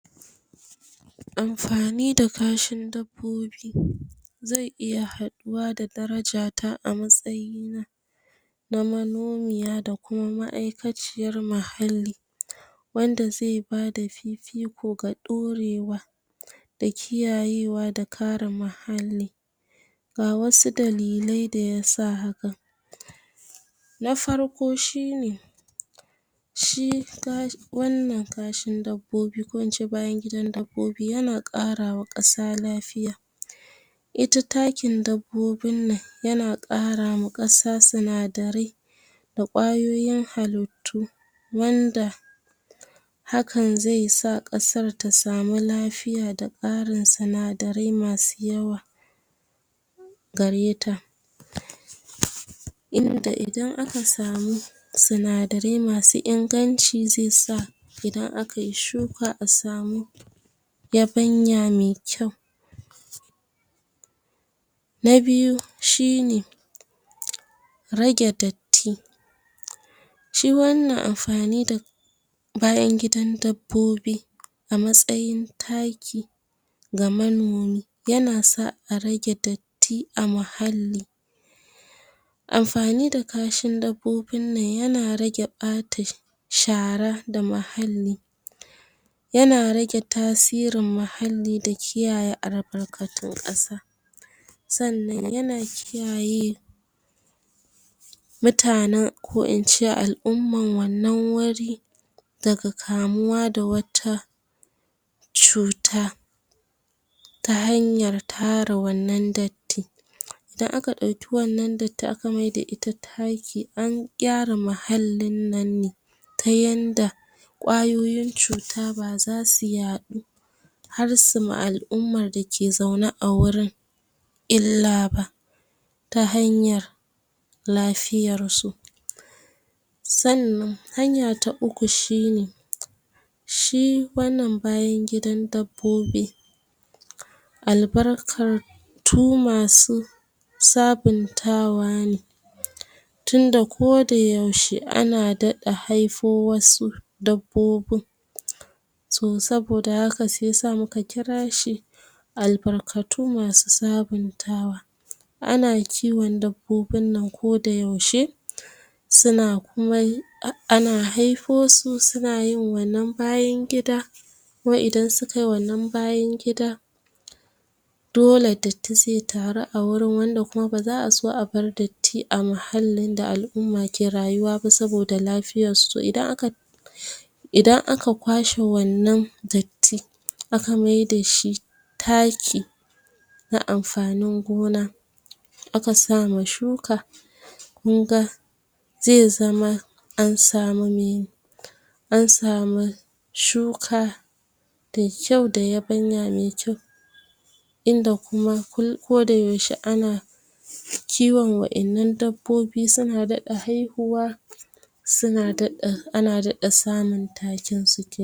Amfani da kashin dabbobi zai iya haɗuwa da daraja ta, a matsayi na na manomiya da kuma ma'aikaciyar mahalli, wanda zai bada fifiko da ɗorewa, da kiyayewa da ka re mahalli. Ga wasu dalilai da yasa hakan: Na farko shine, shi wannan kashin dabbobi ko in ce bayan gidan dabbobi, yana ƙarawa ƙasa lafiya. Ita takin dabbobin nan, yana ƙarawa ƙasa sinadarai da ƙwayoyin halittu, wanda hakan zai sa ƙasar ta samu lafiya, da ƙarin sinadarai masu yawa gareta. Inda idan aka samu sinadarai masu inganci, ze sa idan a kai shuka a samu yabanya mai kyau. Na biyu shine, rage datti. Shi wannan amfani da bayan gidan dabbobi a matsayin taki, ga manomi, yana sa a rage datti a mahalli. Amfani da kashin dabbobin nan, yana rage ɓata shara da muhalli, yana rage tasirin mahalli da kiyaye albarkatun ƙasa. Sannan, yana kiyaye mutanen ko in ce al'umman wannan wuri, daga kamuwa da wata cuta, ta hanyar tara wannan datti. Idan aka ɗauki wannan datti aka maida ita taki, an gyara mahallin nan ne, ta yanda ƙwayoyin cuta ba zasu yaɗu, har su ma al'umman da ke zaune a wurin illa ba, ta hanyar lafiyar su. Sannan, hanya ta uku shine, shi wannan bayan gidan dabbobi, albarkar tu masu sabuntawa ne, tunda ko da yaushe ana daɗa haifo wasu dabbobun. So, saboda haka shi yasa muka kira shi albarkatu masu sabuntawa. Ana kiwon dabbobin nan ko da yaushe, ana haifo su suna yin wannan bayan gida, kuma idan sukai wannan bayan gida, dole datti ze taru a wurin, wanda kuma ba za a so a bar datti a mahallin da al'umma ke rayuwa ba, saboda lafiyar su. Idan aka idan aka kwashe wannan datti aka maida shi taki na amfanin gona, aka sa ma shuka, kun ga ze zama an samu me an samu shuka da kyau, da yabanya me kyau, inda kuma ko da yaushe kiwon dabbobi, suna daɗa haihuwa, ana daɗa samun takin su ken